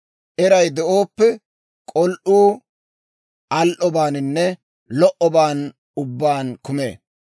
Eray de'ooppe, k'ol"uu al"obaaninne lo"oban ubbaan kumee.